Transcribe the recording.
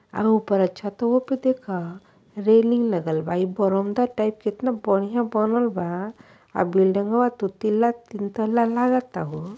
अ ऊपर छतओ प देखा रेलिंग लगल बा इ बरौंदा टाइप के एतना बढ़िया बनल बा। आ बिल्डिंगवा दुतिल्ला तीनतल्ला लागता हो।